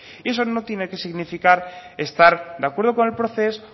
y eso no tiene que significar estar de acuerdo con el procés